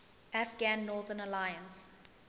afghan northern alliance